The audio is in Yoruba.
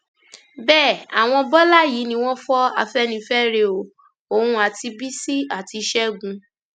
bẹẹ àwọn bọlá yìí ni wọn fọ afẹnifẹre o òun àti bísí àti ṣẹgun